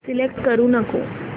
select करू नको